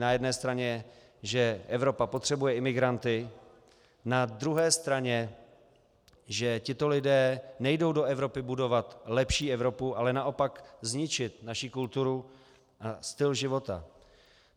Na jedné straně, že Evropa potřebuje imigranty, na druhé straně, že tito lidé nejdou do Evropy budovat lepší Evropu, ale naopak zničit naši kulturu a styl života.